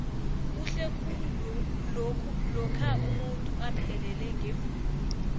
kuhle khulu lokha umuntu aphelele ngevunulo